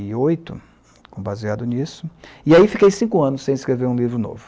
e oito, com Baseado nisso, e aí fiquei cinco anos sem escrever um livro novo.